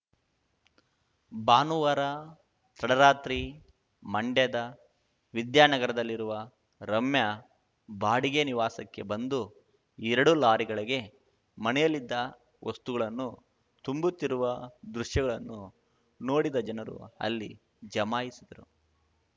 ಭಾನುವಾರ ತಡರಾತ್ರಿ ಮಂಡ್ಯದ ವಿದ್ಯಾನಗರದಲ್ಲಿರುವ ರಮ್ಯಾ ಬಾಡಿಗೆ ನಿವಾಸಕ್ಕೆ ಬಂದು ಎರಡು ಲಾರಿಗಳಿಗೆ ಮನೆಯಲ್ಲಿದ್ದ ವಸ್ತುಗಳನ್ನು ತುಂಬುತ್ತಿರುವ ದೃಶ್ಯಗಳನ್ನು ನೋಡಿದ ಜನರು ಅಲ್ಲಿ ಜಮಾಯಿಸಿದರು